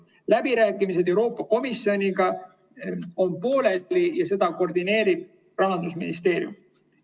Läbirääkimised Euroopa Komisjoniga on pooleli ja neid koordineerib Rahandusministeerium.